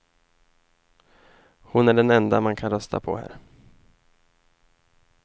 Hon är den enda man kan rösta på här.